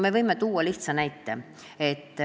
Me võime tuua lihtsa näite.